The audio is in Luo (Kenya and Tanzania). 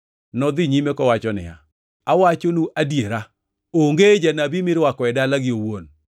Nodhi nyime kowacho niya, “Awachonu adiera, onge janabi mirwako e dalagi owuon.